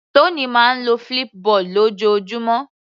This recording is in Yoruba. Tony máa ń lo Flipboard lójoojúmọ́.